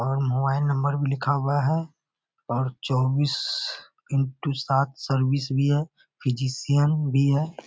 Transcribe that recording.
और mobile number भी लिखा हुआ है और चौबीस इनटू सात सर्विस भी है फिजिशियन भी है।